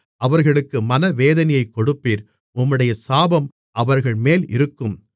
அவர்களுக்கு மனவேதனையைக் கொடுப்பீர் உம்முடைய சாபம் அவர்கள்மேல் இருக்கும்